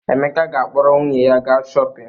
Emeka ga-akpọrọ nwunye ya gaa shọpịn.